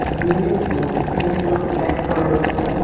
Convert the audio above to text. ये एक मूर्ती है जो ब्लैक कलर की है।